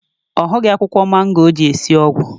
Ọ hughị akwụkwọ mango o ji esi ọgwụ